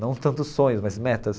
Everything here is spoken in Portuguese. Não tanto sonhos, mas metas.